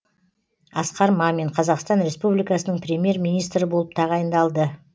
асқар мамин қазақстан республикасының премьер министрі болып тағайындалды